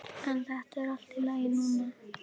En þetta er allt í lagi núna.